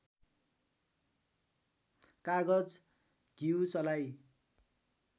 कागज घिउ सलाई